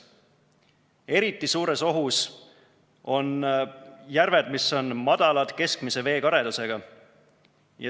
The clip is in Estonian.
Eriti suures ohus on järved, mis on madalad ja keskmise veekaredusega.